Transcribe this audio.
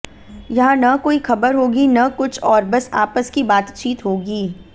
यहां न कोई खबर होगी न कुछ और बस आपस की बातचीत होगी